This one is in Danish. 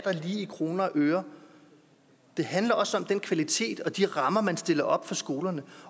i kroner og øre det handler også om den kvalitet og de rammer man stiller op for skolerne